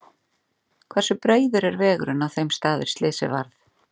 Hversu breiður er vegurinn á þeim stað er slysið varð?